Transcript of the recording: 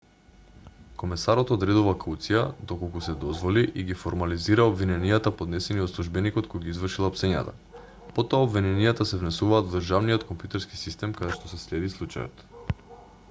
комесарот одредува кауција доколку се дозволи и ги формализира обвиненијата поднесени од службеникот кој ги извршил апсењата потоа обвиненијата се внесуваат во државниот компјутерски систем каде што се следи случајот